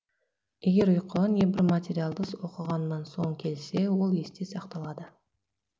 егер ұйқы небір материалды оқығаннан соң келсе ол есте сақталады